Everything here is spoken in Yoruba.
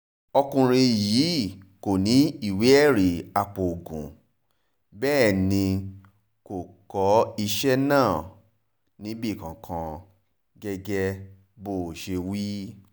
ọkùnrin yìí kò ní ìwé ẹ̀rí apoògùn bẹ́ẹ̀ ni kò kọ iṣẹ́ náà níbì kankan gẹ́gẹ́ bó ṣe wí